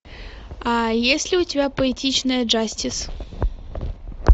а есть ли у тебя поэтичная джастис